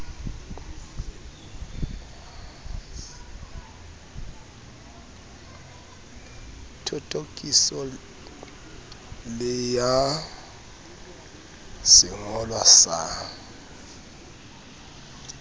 thothokiso le ya sengolwa sa